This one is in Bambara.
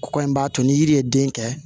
Kɔ in b'a to ni yiri ye den kɛ